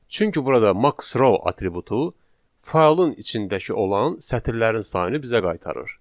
Çünki burada max_row atributu faylın içindəki olan sətirlərin sayını bizə qaytarır.